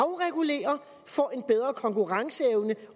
få en bedre konkurrenceevne